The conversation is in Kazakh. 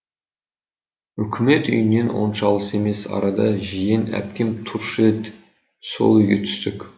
үкімет үйінен онша алыс емес арада жиен әпкем тұрушы еді сол үйге түстік